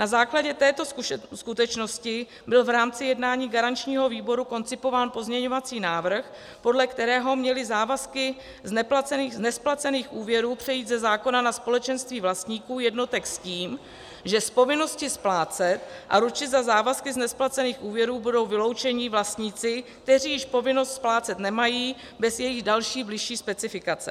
Na základě této skutečnosti byl v rámci jednání garančního výboru koncipován pozměňovací návrh, podle kterého měly závazky z nesplacených úvěrů přejít ze zákona na společenství vlastníků jednotek s tím, že z povinnosti splácet a ručit za závazky z nesplacených úvěrů budou vyloučeni vlastníci, kteří již povinnost splácet nemají, bez jejich další bližší specifikace.